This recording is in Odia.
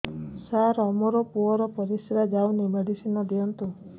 ସାର ମୋର ପୁଅର ପରିସ୍ରା ଯାଉନି ମେଡିସିନ ଦିଅନ୍ତୁ